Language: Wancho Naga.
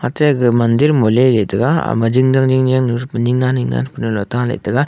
ate ma aga mandir me le le tega ama jing yan jing yan nu ning yen ning yen pu ta le tega.